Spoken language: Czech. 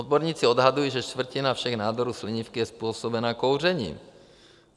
Odborníci odhadují, že čtvrtina všech nádorů slinivky je způsobena kouřením.